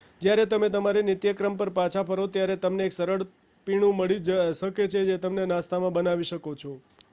જ્યારે તમે તમારી નિત્યક્રમ પર પાછા ફરો ત્યારે તમને એક સરળ પીણું મળી શકે છે જેને તમે નાસ્તામાં બનાવી શકો છો